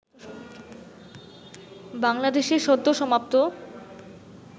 বাংলাদেশে সদ্যসমাপ্ত